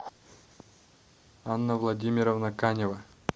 анна владимировна канева